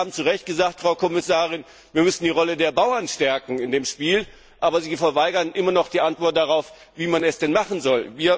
Sie haben zu Recht gesagt, Frau Kommissarin, wir müssten die Rolle der Bauern in dem Spiel stärken, aber Sie verweigern immer noch die Antwort darauf, wie man es denn machen soll.